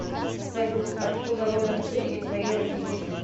салют откуда родом ты и твои родители